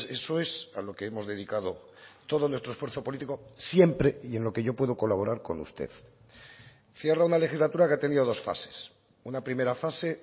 eso es a lo que hemos dedicado todo nuestro esfuerzo político siempre y en lo que yo puedo colaborar con usted cierra una legislatura que ha tenido dos fases una primera fase